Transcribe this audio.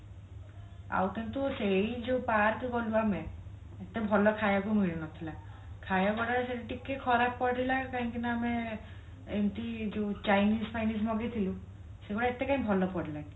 ଆଉ କିନ୍ତୁ ସେଇ ଯୋଉ park ଗଲୁ ଆମେ ଏତେ ଭଲ ଖାଇବାକୁ ମିଳୁ ନଥିଲା ଖାଇବା ପିଇବା ଟିକେ ଖରାପ ପଡିଲା କାହିଁକି ନା ଆମେ ଏମତି ଯୋଉ Chinese ଫାଇନୀଜ ମଗେଇ ଥିଲୁ ସେଗୁଡା ଏତେ କଇଁ ଭଲ ପଡିଲା ନି